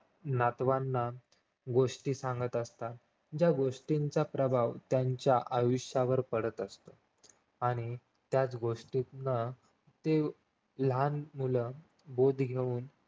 नातवांना गोष्टी सांगत असतात ज्या गोष्टींचा प्रभाव त्यांच्या आयुष्यवर पडत असतो आणि त्याच गोष्टितन ती लहान मुलं बोध घेऊन